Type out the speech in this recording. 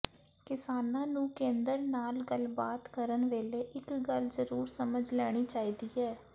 ਕਿਸਾਨਾਂ ਨੂੰ ਕੇਂਦਰ ਨਾਲ ਗੱਲਬਾਤ ਕਰਨ ਵੇਲੇ ਇਕ ਗੱਲ ਜ਼ਰੂਰ ਸਮਝ ਲੈਣੀ ਚਾਹੀਦੀ ਹੈ